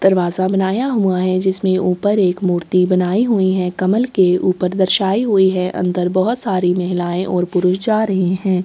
दरवाज़ा बनाया हुआ है जिसमें ऊपर एक मूर्ति बनाई हुई है कमल के ऊपर दर्शायी हुई है अन्दर भोत सारे महिलाये और पुरुष जा रही है।